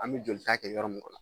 An bi joli ta kɛ yɔrɔ min kɔnɔ